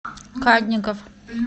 кадников